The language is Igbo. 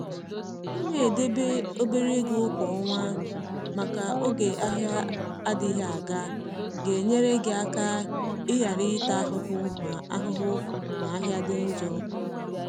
i na edebe obere ego kwa ọnwa maka oge ahịa adịghị aga. ga-enyere gị aka i ghara ịta ahụhụ ma ahụhụ ma ahịa dị njọ.